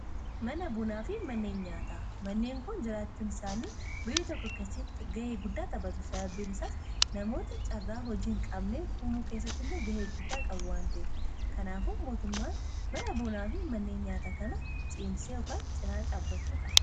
mana buunaa fi manneen nyaataa manneen kun jiraachuun isaanii biyya tokko kaesatti ga'ee guddaa taphatu sababbiin isaas namoota caarraa hojiin qabnee huumuu keessatti illee ga'ee guddaa qabu waanteef kanaafuootmmn mana buunaafi manneen nyaataa kana ciimsekaan cinaan caabachuu qaba